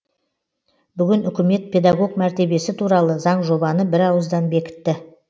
бүгін үкімет педагог мәртебесі туралы заңжобаны бірауыздан бекітті